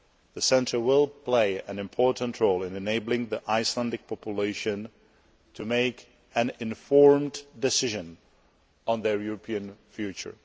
The Centre will play an important role in enabling the Icelandic population to make an informed decision on their European future.